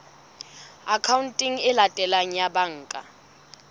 akhaonteng e latelang ya banka